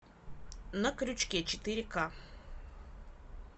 на крючке четыре ка